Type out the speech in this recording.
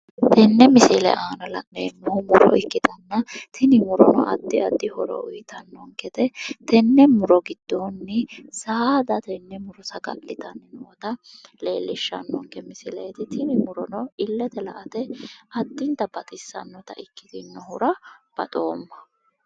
Tini misilete anna la'neemmohu muro ikkitanna tini muro addi addi noro uuyitanno gede tenne muro giddoonni saada saga'litannota leellishshannonke misieeti tini, tini murono illete la'ate baxissannota ikkitinohura baxoomma.